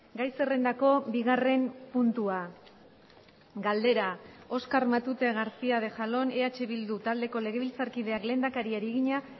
gai zerrendako bigarren puntua galdera oskar matute garcía de jalón eh bildu taldeko legebiltzarkideak lehendakariari egina